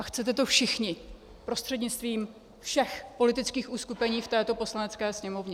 A chcete to všichni prostřednictvím všech politických uskupení v této Poslanecké sněmovně.